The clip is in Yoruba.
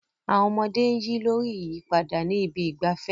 Àwọn ọmọdé ń yí lórí ìyípadà ní ibi ìgbafẹ́.